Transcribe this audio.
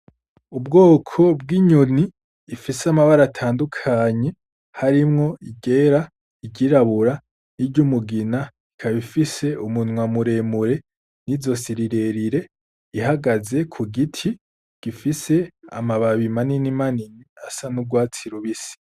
Ubwoko bw'inyoni ifise amabara atandukanye harimwo iryera, iryirabura n'iryumugina ikaba ifise umunwa muremure n'izosi rirerire ihagaze kugiti gifise amababi manini asa n'urwatsi rubisi.